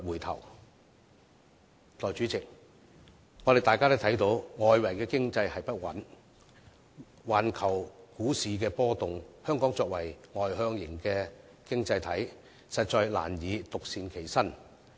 代理主席，大家也看到，外圍經濟不穩和環球股市波動，香港作為外向型經濟體，實在難以獨善其身。